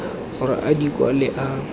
gore a di kwale a